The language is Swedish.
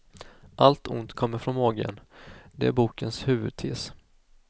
Allt ont kommer från magen, det är bokens huvudtes.